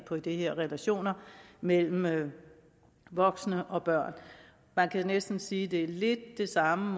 på de her relationer mellem voksne og børn man kan næsten sige det måske er lidt det samme